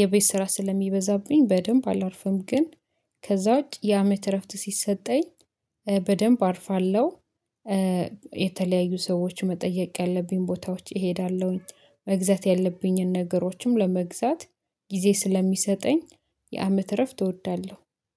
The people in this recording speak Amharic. የቤት ስራ ስለሚበዛብኝ በደንብ አላርፍም። ግን ከዛ ውጪ ያመት እረፍት ሲሰጠኝ በደንብ አርፋለሁ። የተለያዩ ሰዎች መጠየቅ ያለብኝ ቦታዎች እሄዳለሁኝ መግዛት ያለብኝን ነገሮችም ለመግዛት ጊዜ ስለሚሰጠኝ የአመት እረፍት እወዳለሁ